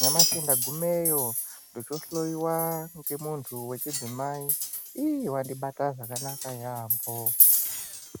Nyamashi ndagumeyo ndochohloiwa ngemuntu vechidzi ii vandibata zvakanaka yaambo.